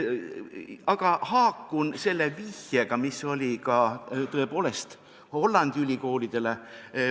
Aga haakun selle vihjega, mis sai tehtud Hollandi ülikoolidele.